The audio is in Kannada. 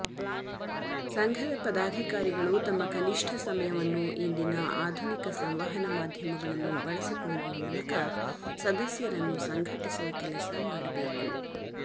ಸಂಘದ ಪದಾಧಿಕಾರಿಗಳು ತಮ್ಮ ಕನಿಷ್ಟ ಸಮಯವನ್ನು ಇಂದಿನ ಆಧುನಿಕ ಸಂವಹನ ಮಾಧ್ಯಮಗಳನ್ನು ಬಳಸಿಕೊಳ್ಳುವ ಮೂಲಕ ಸದಸ್ಯರನ್ನು ಸಂಘಟಿಸುವ ಕೆಲಸ ಮಾಡಬೇಕು